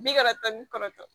Bi karata ni kɔrɔtɔ